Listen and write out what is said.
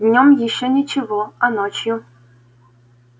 днём ещё ничего а ночью